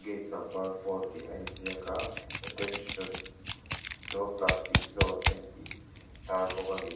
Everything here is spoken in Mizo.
gate number four tih a inziak a attention no plastic zone a intih tar bawk a ni.